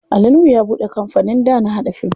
Ali nuhu ya buɗe kampanin da na haɗa fim.